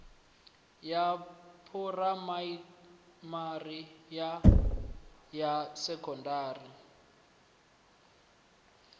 ya phuraimari na ya sekondari